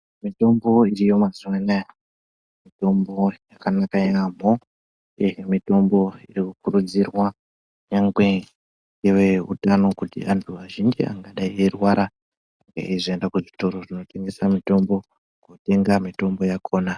Mitombo iriyo mazuwa anaya mitombo yakanaka yaamho mitombo irikuridzirwa nyangwe neveutano kuti antu azhinji angadayi aeirwara aende kuzvitoro zvinotengese mitombo yakona.